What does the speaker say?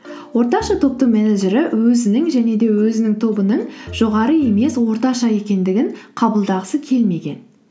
орташа топтың менеджері өзінің және де өзінің тобының жоғары емес орташа екендігін қабылдағысы келмеген